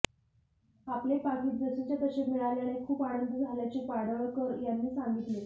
आपले पाकीट जसेच्या तसे मिळाल्याने खूप आनंद झाल्याचे पाडळकर यांनी सांगितले